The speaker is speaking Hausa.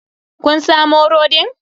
Kun samu rodin?